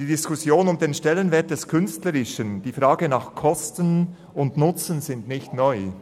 Die Diskussion um den Stellenwert des Künstlerischen und die Frage nach Kosten und Nutzen sind nicht neu.